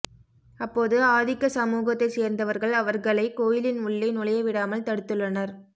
அப்போது ஆதிக்க சமூகத்தைச் சேர்ந்தவர்கள் அவர்களை கோயிலின் உள்ளே நுழைய விடாமல் தடுத்துள்ளனர்